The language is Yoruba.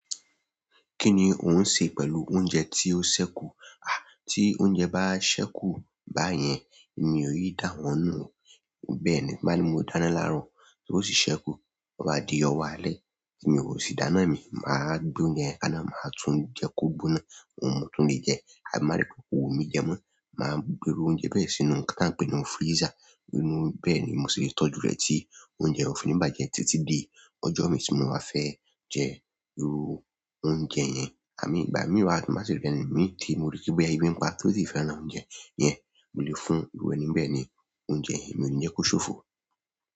Kí ni ò ń ṣe pẹ̀lú oúnjẹ tí ó ṣẹ́kù? À, tí oúnjẹ bá ṣẹ́kù báyẹn èmi ò yí dà wọ́n nù, bẹ́ẹ̀ ni. Ba ní mo dáná laarọ tó sì sẹku bo bá di ni ọwọ alẹ́ tí mi i o si dáná mi mà á gbé oúnjẹ kánná, mà á tún jẹ kó gbóná, òun mú tún lè jẹ. Àbí n bá ri pé ko wu mí jẹ mó, mà á gbè iru oúnjẹ bẹ́ẹ̀ sínú ká tá ń pè ní freezer. Ba ní mo dáná laarọ tó sì sẹku bo bá di ni ọwọ alẹ́ tí mi i o si dáná mi àbí ìgbà mìíràn tí màá ṣe rí rẹ̀ ni mí tì, mo rí pé bí ẹbí ń pa tí ó sì fẹ́ rán oúnjẹ yẹn, mo lè fún irú ẹni bẹ́ẹ̀ ni oúnjẹ mi ò ní jẹ́ kó ṣófo.